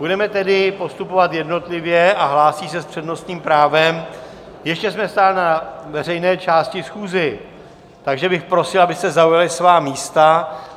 Budeme tedy postupovat jednotlivě a hlásí se s přednostním právem - ještě jsme stále na veřejné části schůze, takže bych prosil, abyste zaujali svá místa!